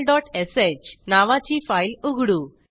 function localश नावाची file उघडू